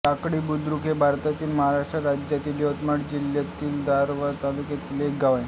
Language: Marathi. टाकळी बुद्रुक हे भारतातील महाराष्ट्र राज्यातील यवतमाळ जिल्ह्यातील दारव्हा तालुक्यातील एक गाव आहे